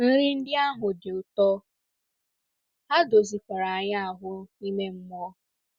Nri ndị ahụ dị ụtọ — ha dozikwara anyị ahụ́ ime mmụọ.